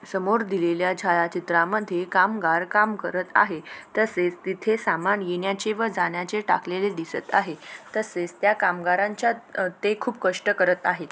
समोर दिलेल्या छायाचित्रामध्ये कामगार काम करत आहे तसेच तिथे समान येण्याचे व जाण्याचे टाकलेले दिसत आहे तसेच त्या कामगारांचा ते खुप कष्ट करत आहे.